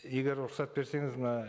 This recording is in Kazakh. егер рұқсат берсеңіз мына